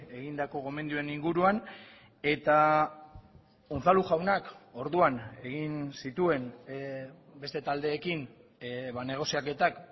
egindako gomendioen inguruan eta unzalu jaunak orduan egin zituen beste taldeekin negoziaketak